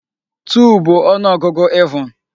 2 bụ ọnụọgụ even.